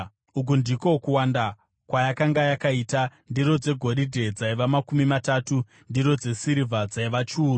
Uku ndiko kuwanda kwayakanga yakaita: ndiro dzegoridhe dzaiva makumi matatu; ndiro dzesirivha dzaiva chiuru;